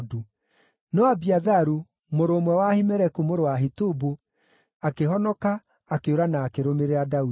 No Abiatharu, mũrũ ũmwe wa Ahimeleku mũrũ wa Ahitubu, akĩhonoka, akĩũra, na akĩrũmĩrĩra Daudi.